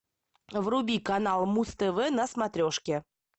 вруби канал муз тв на смотрешке